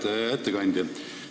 Hea ettekandja!